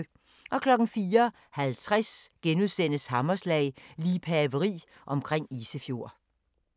04:50: Hammerslag - liebhaveri omkring Isefjord *